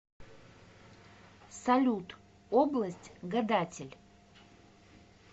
салют область гадатель